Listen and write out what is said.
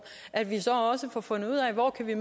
så får fundet ud af hvor vi